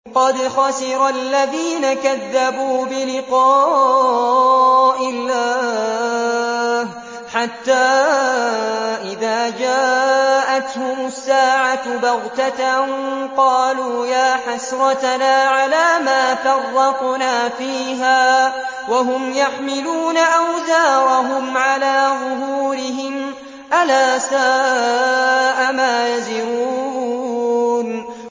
قَدْ خَسِرَ الَّذِينَ كَذَّبُوا بِلِقَاءِ اللَّهِ ۖ حَتَّىٰ إِذَا جَاءَتْهُمُ السَّاعَةُ بَغْتَةً قَالُوا يَا حَسْرَتَنَا عَلَىٰ مَا فَرَّطْنَا فِيهَا وَهُمْ يَحْمِلُونَ أَوْزَارَهُمْ عَلَىٰ ظُهُورِهِمْ ۚ أَلَا سَاءَ مَا يَزِرُونَ